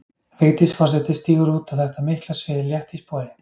Vigdís forseti stígur út á þetta mikla svið létt í spori.